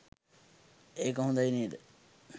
ඒක හොඳයි නේද?